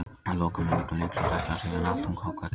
Á lokamínútum leiksins ætlaði síðan allt um koll að keyra.